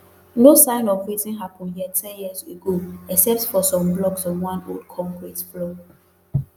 no sign of wetin happen here ten years ago except for some blocks of one old concrete floor